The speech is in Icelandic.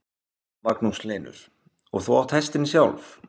Magnús Hlynur: Og þú átt hestinn sjálf?